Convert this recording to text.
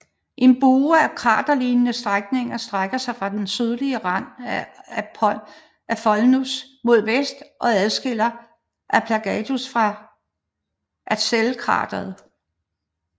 En bue af kraterlignende sænkninger strækker sig fra den sydlige rand af Alphonsus mod vest og adskiller Alpetagnius fra Arzachelkrateret